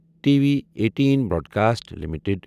T V eighteen broadcast limited